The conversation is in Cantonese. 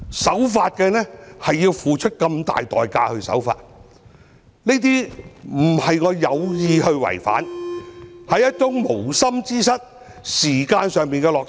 守法竟然要付出這麼大的代價，又不是我有意違規，而是無心之失，是時間上的落差。